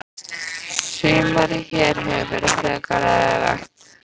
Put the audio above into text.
Sumarið hér hefur verið frekar leiðinlegt.